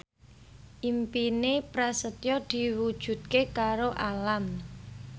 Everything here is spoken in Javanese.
impine Prasetyo diwujudke karo Alam